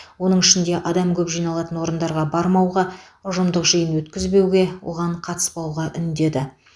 оның ішінде адам көп жиналатын орындарға бармауға ұжымдық жиын өткізбеуге оған қатыспауға үндеді